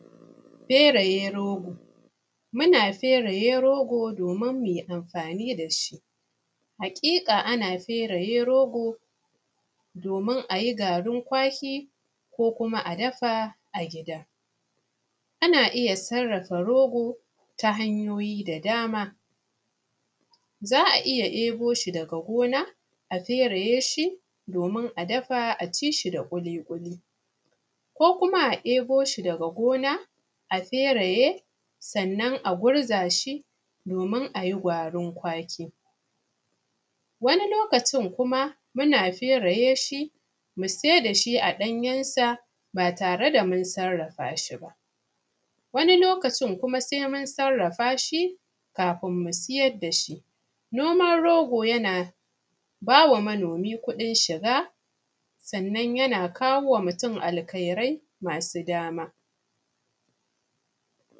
fereye rogo muna fereye rogo domin muyi amfani dashi, haƙiƙa ana fereye rogo domin a yi garin ƙwaki ko kuma a dafa a gida ana iya sarrafa rogo ta hanyoyi da dama, za a iya ɗebo shi daga gona domin a dafa a ci shi da ƙuli-ƙuli ko kuma a ɗebo shi daga gona a fereye sannan a gurza shi domin a yi garin ƙwaki wani lokacin kuma sai muna sarafa shi kafin mu sai da shi a ɗanyen sa ba tare da mun sarrafa shi ba, wani lokacin kuma sai mun sarrafa shi kafin mu siyar da shi noman rogo yana bawa manomi kudin shiga sannan yana kawowa mutum alkairai masu dama